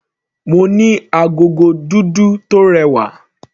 Mo ní agogo dúdú tó rẹwà.